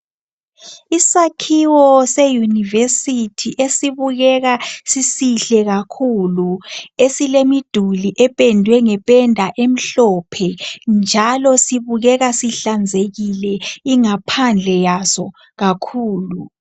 Isakhiwo se university esibukeka sisihle kakhulu esilemiduli ependwe ngependa emhlophe njalo sibukeka sihlanzekile ingaphandle yaso kakhulu.